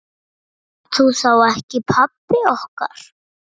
Ertu þá ekki pabbi okkar?